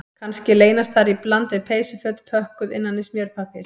Kannski leynast þar í bland við peysuföt pökkuð innan í smjörpappír